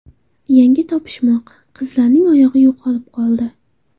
Yangi topishmoq: Qizning oyog‘i yo‘qolib qoldi.